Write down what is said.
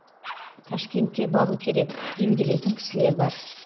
ташкентке бару керек емделетін кісілер бар